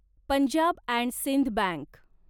Punjab and Sindh bank